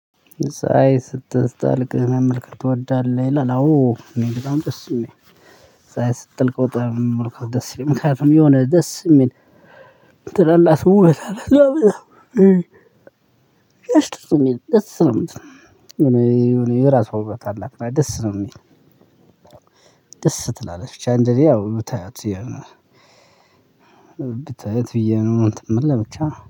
ሳይ ስትጠልቅ መመልከት ትወዳለህ? ይላል አዎ እኔ በጣም ደስ ነው የሚለኝ ፀሀይ ስትጠልቅ በጣም መመልከት ደስ ይለኛል። ምክንያቱም የሆነ ደስ የሚል ነገር አለው። ደስ ነው የምትል የራሷ ውበት አላት ደስ ነው የሚል ደስ ትላለች። እንደነ ያው ብታይዋት ብታያት ብዬ ነው እንትን ሚል ለብቻ